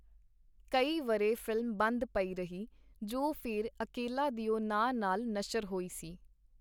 ਕਈ ਵਰ੍ਹੇ ਫ਼ਿਲਮ ਬੰਦ ਪਈ ਰਹੀ, ਜੋ ਫੇਰ ਅਕੇਲਾ ਦਿਓ ਨਾਂ ਨਾਲ ਨਸ਼ਰ ਹੋਈ ਸੀ.